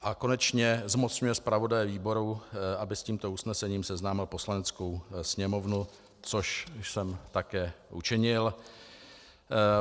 A konečně zmocňuje zpravodaje výboru, aby s tímto usnesením seznámil Poslaneckou sněmovnu, což jsem také učinil.